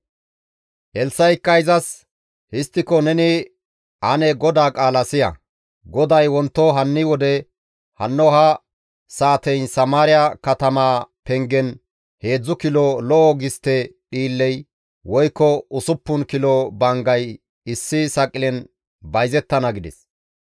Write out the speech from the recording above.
Elssa7ikka izas, «Histtiko neni ane GODAA qaala siya; GODAY, Wonto hanni wode hanno ha saateyin Samaariya katamaa pengen heedzdzu kilo lo7o gistte dhiilley woykko usuppun kilo banggay issi saqilen bayzettana» gides.